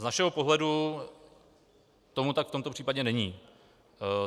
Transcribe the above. Z našeho pohledu tomu tak v tomto případě není.